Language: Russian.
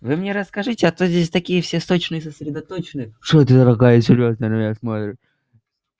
вы мне расскажете а то здесь такие все сточные сосредоточены что это дорогая серьёзно на меня смотришь